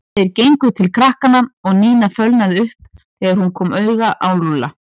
Þeir gengu til krakkanna og Nína fölnaði upp þegar hún kom auga á Lúlla.